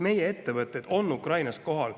Meie ettevõtted on Ukrainas kohal.